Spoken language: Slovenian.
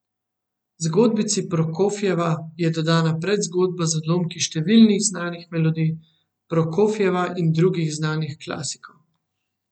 Zgodbici Prokofjeva je dodana predzgodba z odlomki številnih znanih melodij Prokofjeva in drugih znanih klasikov.